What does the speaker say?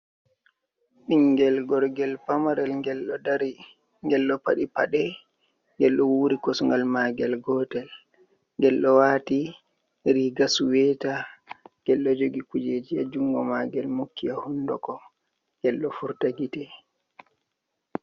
Ɓingel gorgel pamarel, ngel ɗo ɗari, ngel ɗo paɗi paɗe, ngel ɗo wuri kosgal magel gotel, ngel ɗo wati riga suweta, ngel ɗo jogi kujeji ha jungo magel mokki ha hunduko ngel ɗo furta gite.